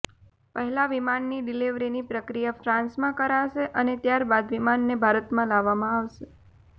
પહેલા વિમાનની ડિલીવરીની પ્રક્રિયા ફ્રાન્સમાં કરાશે અને ત્યારબાદ વિમાનને ભારત લાવવામાં આવશે